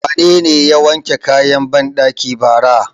Wanene ya wanke kayan banɗaki bara?